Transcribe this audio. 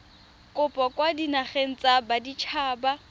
kopo kwa dinageng tsa baditshaba